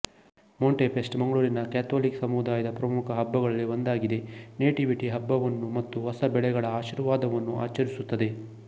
Monti fest ಮಂಗಳೂರಿನ Catholic ಸಮುದಾಯದ ಪ್ರಮುಖ ಹಬ್ಬಗಳಲ್ಲಿ ಒಂದಾಗಿದೆ ನೇಟಿವಿಟಿ ಹಬ್ಬವನ್ನು ಮತ್ತು ಹೊಸ ಬೆಳೆಗಳ ಆಶೀರ್ವಾದವನ್ನು ಆಚರಿಸುತ್ತದೆ